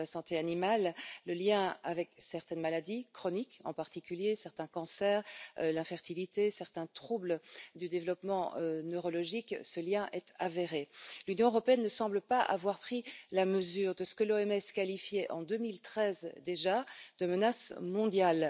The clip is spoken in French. et animale, ainsi que leur lien avec certaines maladies chroniques, en particulier certains cancers, avec l'infertilité et avec certains troubles du développement neurologique. Ce lien est avéré. L'Union européenne ne semble pas avoir pris la mesure de ce que l'OMS qualifiait, en 2013 déjà, de menace mondiale.